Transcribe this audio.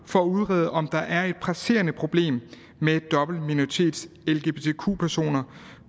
for at udrede om der er et presserende problem med dobbeltminoritets lgbtq personer